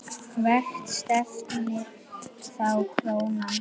Hvert stefnir þá krónan?